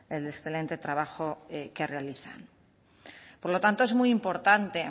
el excelente trabajo que realizan por lo tanto es muy importante